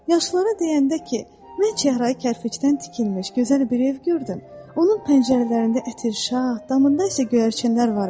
Yaşlılara deyəndə ki, mən çəhrayı kərpicdən tikilmiş gözəl bir ev gördüm, onun pəncərələrində ətirşad, damında isə göyərçinlər var idi.